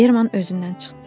Berman özündən çıxdı.